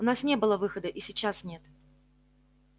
у нас не было выхода и сейчас нет